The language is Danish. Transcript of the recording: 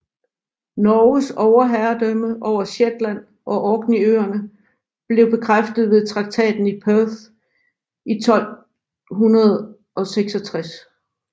Norges overherredømme over Shetland og Orkneyøerne blev bekræftet ved traktaten i Perth i 1266